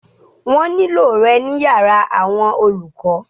Wọ́n ní lò rẹ ní yàrá àwọn olùkọ.